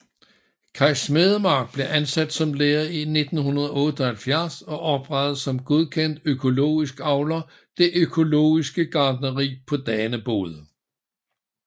Kaj Smedemark blev ansat som lærer i 1978 og oprettede som godkendt økologisk avler det økologiske gartneri på Danebod